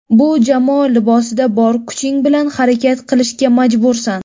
Bu jamoa libosida bor kuching bilan harakat qilishga majbursan.